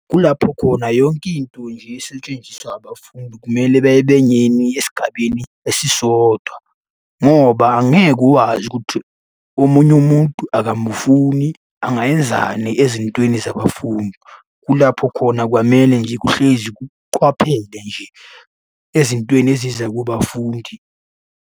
Kulapho khona yonke into nje esetshenziswa abafundi kumele esigabeni esisodwa, ngoba angeke ukwazi ukuthi omunye umuntu akamufuni angayenzani ezintweni zabafundi. Kulapho khona kwamele nje kuhlezi kuqwaphele nje ezintweni eziza kubafundi.